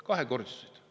Kahekordistusid!